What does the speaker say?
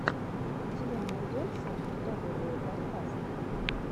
у тебя найдется топовые подкасты